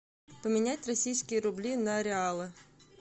поменять российские рубли на реалы